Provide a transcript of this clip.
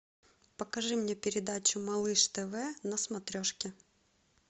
покажи мне передачу малыш тв на смотрешке